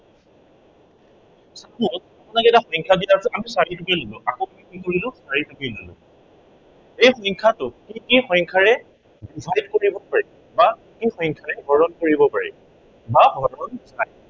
আপোনালোকে যে সংখ্য়াকেইটা আছে আমি চাৰিটোকে ললে। আকৌ কি কৰিলো, চাৰিটোকে ললো। এই সংখ্য়াটোক কি কি সংখ্য়াৰে divide কৰিব পাৰি বা কি কি সংখ্য়াৰে হৰণ কৰিব পাৰি। বা হৰণ